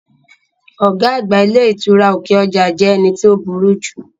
Ọ̀gá àgbà ilé ìtura òkè ọjà jẹ́ ẹni tí ó burú